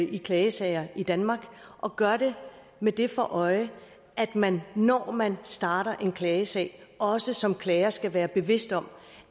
i klagesager i danmark og gør det med det for øje at man når man starter en klagesag også som klager skal være bevidst om